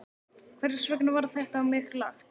Hvers vegna var þetta á mig lagt?